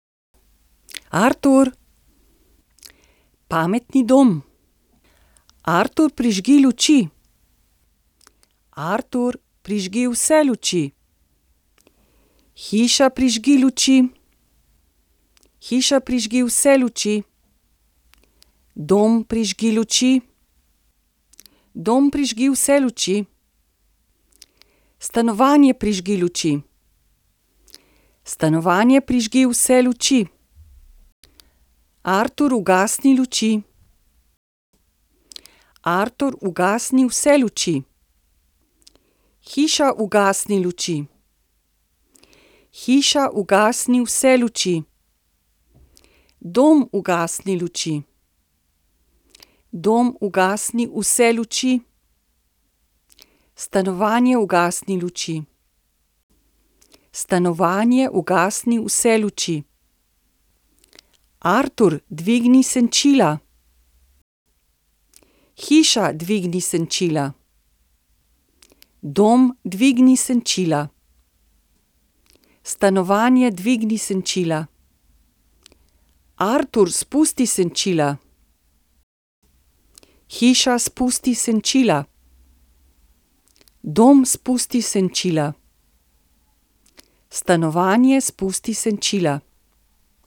Artur. Pametni dom. Artur, prižgi luči. Artur, prižgi vse luči. Hiša, prižgi luči. Hiša, prižgi vse luči. Dom, prižgi luči. Dom, prižgi vse luči. Stanovanje, prižgi luči. Stanovanje, prižgi vse luči. Artur, ugasni luči. Artur, ugasni vse luči. Hiša, ugasni luči. Hiša, ugasni vse luči. Dom, ugasni luči. Dom, ugasni vse luči. Stanovanje, ugasni luči. Stanovanje, ugasni vse luči. Artur, dvigni senčila. Hiša, dvigni senčila. Dom, dvigni senčila. Stanovanje, dvigni senčila. Artur, spusti senčila. Hiša, spusti senčila. Dom, spusti senčila. Stanovanje, spusti senčila.